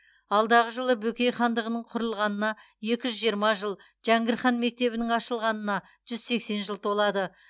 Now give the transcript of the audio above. алдағы жылы бөкей хандығының құрылғанына екі жүз жиырма жыл жәңгір хан мектебінің ашылғанына жүз сексен жыл толады